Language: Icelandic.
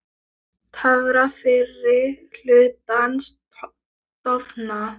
Töfrar fyrri hlutans dofna.